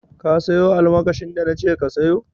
Ka sayo almakashin da na ce ka sayo?